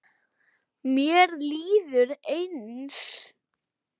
Mér líður eins.